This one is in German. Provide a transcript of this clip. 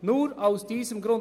Nur aus diesem Grund.